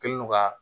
Kɛlen do ka